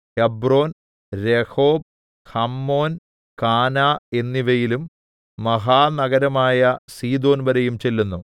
Hebron Rehob Hammon Kanah എന്നിവയിലും മഹാനഗരമായ സീദോൻവരെയും ചെല്ലുന്നു